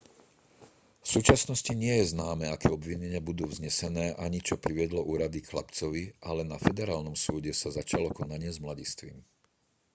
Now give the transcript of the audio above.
v súčasnosti nie je známe aké obvinenia budú vznesené ani čo priviedlo úrady k chlapcovi ale na federálnom súde sa začalo konanie s mladistvým